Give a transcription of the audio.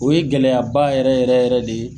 O ye gɛlɛya ba yɛrɛ yɛrɛ yɛrɛ de ye.